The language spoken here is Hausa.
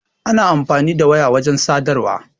Ana amfani da waya wajen sadarwa.